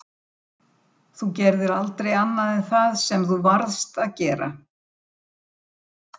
Þá var auðveldara að þiggja bara farið en að þurfa að upphugsa einhverja lygi.